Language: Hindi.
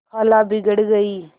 खाला बिगड़ गयीं